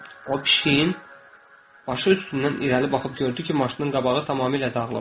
O pişiyin başı üstündən irəli baxıb gördü ki, maşının qabağı tamamilə dağılıb.